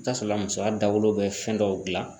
I bi taa sɔrɔ musoya dawolo bɛ fɛn dɔw gilan